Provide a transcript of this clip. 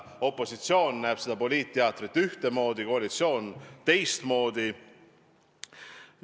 Opositsioon näeb seda poliitteatrit ühtemoodi, koalitsioon teistmoodi.